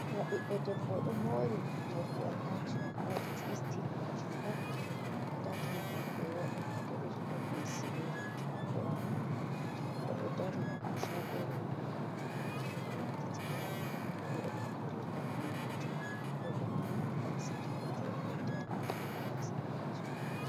Nɗa ɓiɗdo debbo do mori mordi atachimen waɗi twistin majum on atachimen mai be wadi nonde ɗiɗi don mixsi bedon tha brown odo dari ha sagoruwo mordi mai on odo hokkiti bawo odo borniri riga balejum bo be ni yidi gasa kanji wadi beddata ma habe gasa atachmen